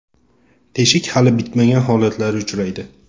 Teshik hali bitmagan holatlari uchraydi.